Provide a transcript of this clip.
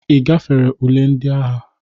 Ị gafere ule ndị agha?